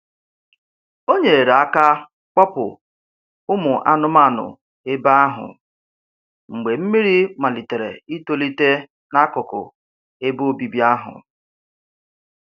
O nyere aka kpọpụ ụmụ anụmanụ ebe ahụ mgbe mmiri malitere itolite n'akụkụ ebe obibi ahụ.